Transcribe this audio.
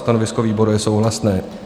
Stanovisko výboru je souhlasné.